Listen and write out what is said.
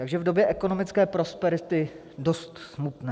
- Takže v době ekonomické prosperity dost smutné.